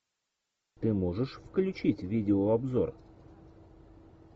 ты можешь включить видеообзор